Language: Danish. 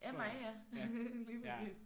Af mig ja. Lige præcis